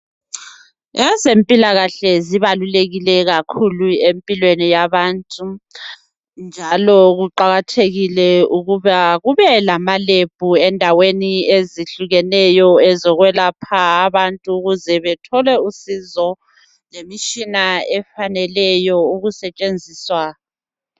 Ezempilakahle zibalulekile kakhulu empilweni yabantu njalo kuqakathekile ukuba kube lama lebhu endaweni ezihlukeneyo ezokwelapha abantu ukuze bethole usizo lemitshina efaneleyo ukusetshenziswa.